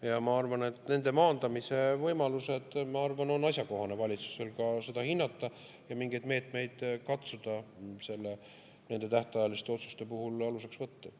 Ja ma arvan, et valitsusel on asjakohane nende maandamise võimalusi hinnata ja mingeid meetmeid katsuda nende tähtajaliste otsuste puhul aluseks võtta.